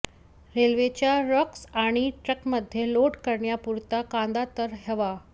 रेल्वेच्या रॅक्स आणि ट्रकमध्ये लोड करण्यापुरता कांदा तर हवा